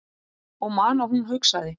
Og man að hún hugsaði